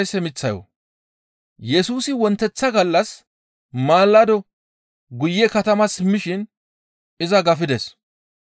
Yesusi wonteththa gallas maalado guye katama simmishin iza gafisides.